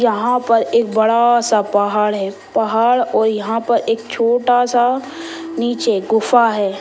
यहाँ पर एक बड़ा सा पहाड़ है पहाड़ और यहाँ पर एक छोटा सा नीचे गुफा है।